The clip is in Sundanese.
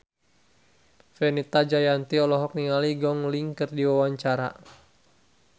Fenita Jayanti olohok ningali Gong Li keur diwawancara